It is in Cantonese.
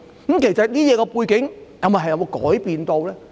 當中的背景其實有否改變？